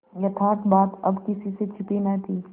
यथार्थ बात अब किसी से छिपी न थी